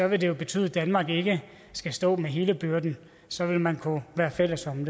vil det jo betyde at danmark ikke skal stå med hele byrden så vil man kunne være fælles om